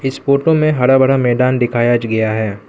Photo में हरा भरा मैदान दिखाया ज गया है।